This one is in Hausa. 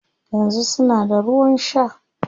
Yanzu suna da ruwan shaa